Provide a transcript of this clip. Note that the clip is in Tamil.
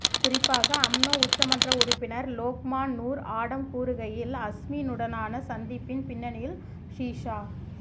குறிப்பாக அம்னோ உச்சமன்ற உறுப்பினர் லோக்மான் நூர் ஆடம் கூறுகையில் அஸ்மினுடனான சந்திப்பின் பின்னணியில் ஹிஷா